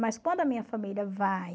Mas quando a minha família vai...